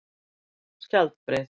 Skjaldbreið